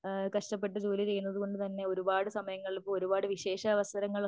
ആഹ് കഷ്ടപ്പെട്ട് ജോലി ചെയ്യുന്നതുകൊണ്ടു തന്നെ ഒരുപാട് സമയങ്ങളിൽ പോലും ഒരുപാട് വിശേഷാവസരങ്ങളിലൊക്കെ